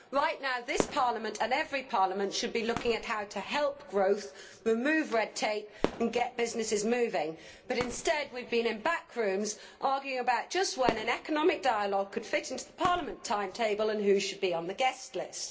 Right now this Parliament and every parliament should be looking at how to help growth, remove red tape and get businesses moving, but instead we have been in back rooms arguing about just when an economic dialogue would fit into Parliament's timetable and who should be on the guest list.